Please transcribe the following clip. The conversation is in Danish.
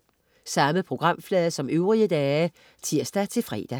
Samme programflade som øvrige dage (tirs-fre)